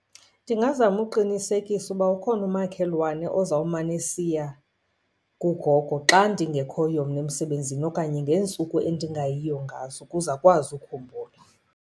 Ndingazama uqinisekisa uba ukhona umakhelwane ozawumane esiya kugogo xa ndingekhoyo mna emsebenzini okanye ngeentsuku endingayiyo ngazo, ukuze akwazi ukhumbula.